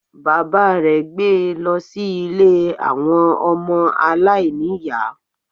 Bàbá rè gbé e lọ sí Ilé àwọn ọmọ aláìníìyá